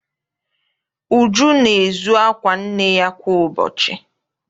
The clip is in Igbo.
Uju na-ezu akwa nne ya kwa ụbọchị.